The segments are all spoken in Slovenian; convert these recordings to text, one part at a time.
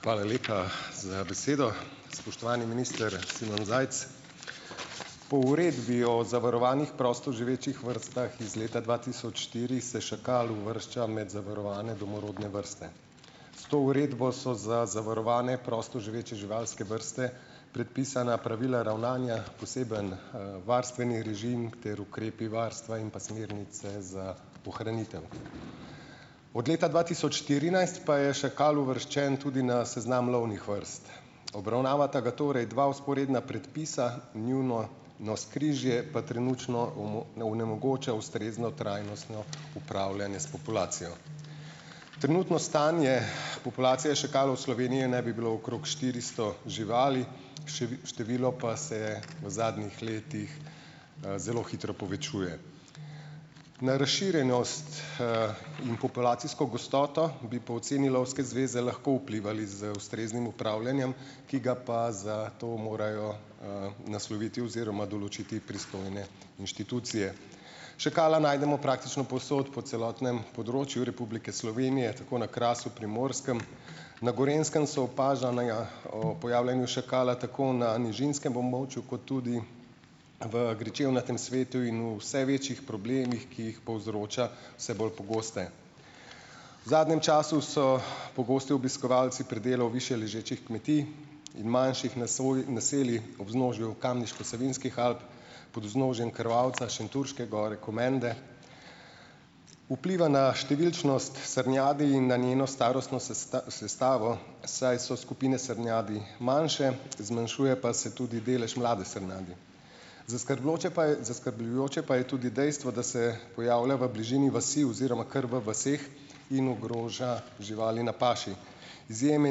Hvala lepa , za besedo. Spoštovani minister Simon Zajc . Po Uredbi o zavarovanih prostoživečih vrstah iz leta dva tisoč štiri se šakal uvršča med zavarovane domorodne vrste. S to uredbo so za zavarovane prostoživeče živalske vrste predpisana pravila ravnanja, poseben, varstveni režim ter ukrepi varstva in pa smernice za ohranitev. Od leta dva tisoč štirinajst pa je šakal uvrščen tudi na seznam lovnih vrst. Obravnavata ga torej dva vzporedna predpisa, njuno navzkrižje pa trenutno onemogoča ustrezno trajnostno upravljanje s populacijo. Trenutno stanje populacije šakalov v Sloveniji naj bilo okrog štiristo živali, število pa se v zadnjih letih, zelo hitro povečuje. Na razširjenost, in populacijsko gostoto bi po oceni Lovske zveze lahko vplivali z ustreznim upravljanjem, ki ga pa za to morajo, nasloviti oziroma določiti pristojne inštitucije. Šakala najdemo praktično povsod, po celotnem področju Republike Slovenije, tako na Krasu, Primorskem. Na Gorenjskem so opažanega ob pojavljanju šakala tako na nižinskem območju kot tudi v gričevnatem svetu in o vse večjih problemih, ki jih povzroča, vse bolj pogoste. V zadnjem času so pogosti obiskovalci pri delu ob višje ležečih kmetijah in manjših naseljih ob vznožju Kamniško-Savinjskih Alp, pod vznožjem Krvavca , Šentjurške gore, Komende. Vpliva na številčnost srnjadi in na njeno starostno sestavo, saj so skupine srnjadi manjše, zmanjšuje pa se tudi delež mlade srnjadi. pa je, zaskrbljujoče pa je tudi dejstvo, da se pojavlja v bližini vasi oziroma kar v vaseh in ogroža živali na paši. Izjeme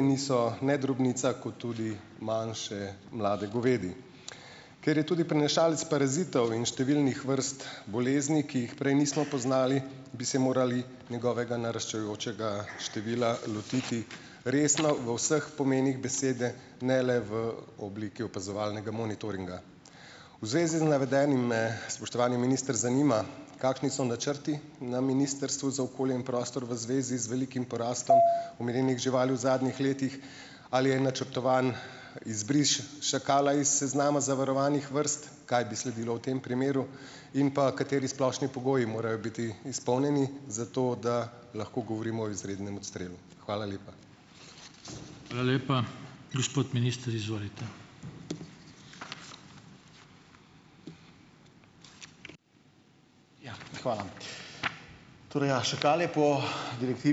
niso ne drobnica, kot tudi manjše, mlade govedi. Ker je tudi prenašalec parazitov in številnih vrst bolezni, ki jih prej nismo poznali, bi se morali njegovega naraščajočega števila lotiti resno, v vseh pomenih besede, ne le v obliki opazovalnega monitoringa. V zvezi z navedenim, me, spoštovani minister, zanima, kakšni so načrti na Ministrstvu za okolje in prostor v zvezi z velikim porastom omenjenih živali v zadnjih letih. Ali je načrtovan izbris šakala iz seznama zavarovanih vrst? Kaj bi sledilo v tem primeru? In pa, kateri splošni pogoji morajo biti izpolnjeni, zato da lahko govorimo o izrednem odstrelu. Hvala lepa. Hvala lepa. Gospod minister, izvolite.